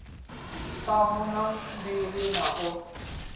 ṱhanu na mbili hu na